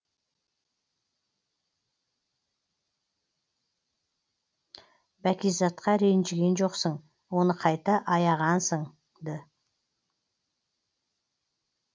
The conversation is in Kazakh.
бәкизатқа ренжіген жоқсың оны қайта аяғансың ды